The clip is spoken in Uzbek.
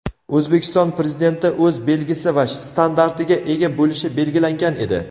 O‘zbekiston prezidenti o‘z belgisi va shtandartiga ega bo‘lishi belgilangan edi.